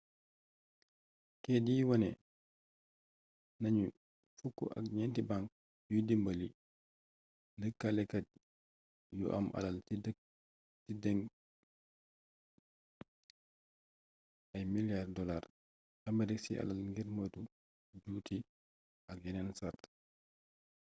keyit yi wane nañu fukk ak ñenti bank yuy dimbali lëkkalekat yu am alal ci dénc ay milliards dollars aamerig ci alal ngir moytu juuti ak yenen sart